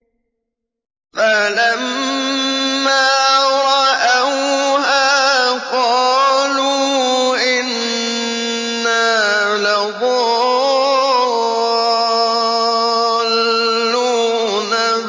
فَلَمَّا رَأَوْهَا قَالُوا إِنَّا لَضَالُّونَ